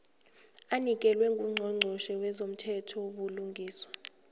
anikelwe ngungqongqotjhe wezomthethobulungiswa